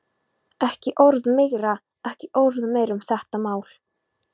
Ekki orð meira, ekki orð meira um þetta mál.